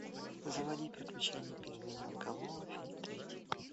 заводи приключения пингвиненка лоло фильм третий